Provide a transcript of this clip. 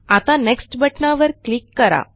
आता नेक्स्ट बटणावर क्लिक करा